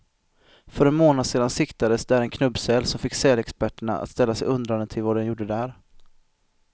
För en månad sedan siktades där en knubbsäl, som fick sälexperterna att ställa sig undrande till vad den gjorde där.